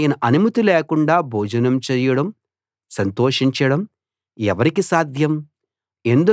ఆయన అనుమతి లేకుండా భోజనం చేయడం సంతోషించడం ఎవరికి సాధ్యం